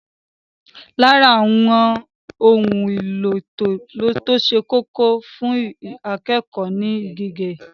Lára àwọn ohun èlò tó ṣe kókó fún akẹ́kọ̀ọ́ ni gègé.